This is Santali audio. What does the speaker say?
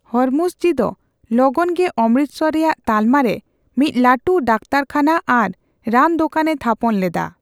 ᱦᱚᱨᱢᱩᱥᱡᱤ ᱫᱚ ᱞᱚᱜᱚᱱ ᱜᱮ ᱚᱢᱨᱤᱛᱥᱚᱨ ᱨᱮᱭᱟᱜ ᱛᱟᱞᱢᱟ ᱨᱮ ᱢᱤᱫ ᱞᱟᱹᱴᱩ ᱫᱟᱠᱛᱟᱨ ᱠᱷᱟᱱᱟ ᱟᱨ ᱨᱟᱱ ᱫᱚᱠᱟᱱᱮ ᱛᱷᱟᱯᱚᱱ ᱞᱮᱫᱟ ᱾